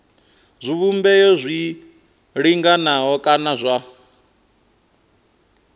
zwivhumbeo zwi linganaho kana zwa